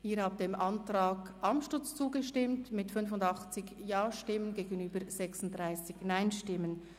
Sie haben dem Antrag Amstutz zugestimmt mit 85 Ja- gegenüber 36 Nein-Stimmen.